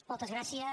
moltes gràcies